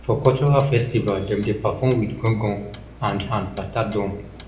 for cultural festival dem dey perform wit gangan and and bata drum